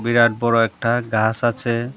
বিরাট বড়ো একটা গাস আছে।